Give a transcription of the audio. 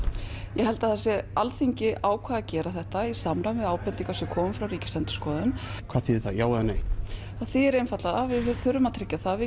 ég held að Alþingi ákveði að gera þetta í samræði við ábendingar sem komu frá Ríkisendurskoðun hvað þýðir það já eða nei það þýðir það að við þurfum að tryggja það að við